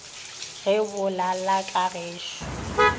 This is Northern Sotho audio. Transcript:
ge bo lala ka gešo